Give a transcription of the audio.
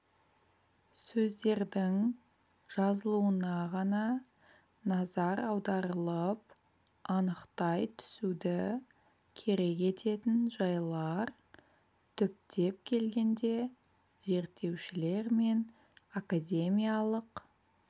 сөздердің жазылуына ғана назар аударылып анықтай түсуді керек ететін жайлар түптеп келгенде зерттеушілер мен академиялық